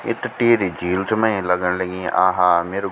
ये त टिहरी झील च में इन लगन लगीं आहा मेरु --